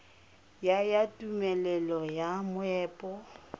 ya ya tumelelo ya moepo